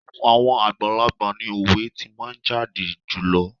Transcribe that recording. Ẹnu àwọn àgbàlagbà ni òwe tí máa jáde jùlọ.